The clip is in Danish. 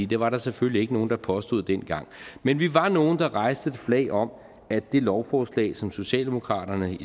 det var der selvfølgelig ikke nogen der påstod dengang men vi var nogle der hejste et flag om at det lovforslag som socialdemokraterne